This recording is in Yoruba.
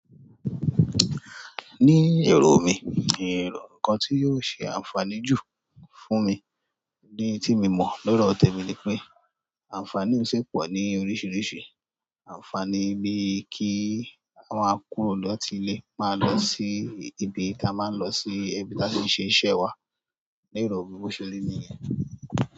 Ní èrò mi, n rò nǹkan tí yóò ṣe ànfàní jù fún mi ni tí mo mọ̀ lọ́rọ̀ tẹ̀mi ni pé ànfàní un sì pọ̀ ní oríṣiríṣi. Ànfàní bíi kíí. Ká kúrò làti ilé, màá lọ síí etí ibi tí a má ń lọ ṣe iṣẹ́ wa. Ní èrò mi bó ṣe rí yẹn.